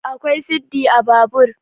akwai siddi a Babur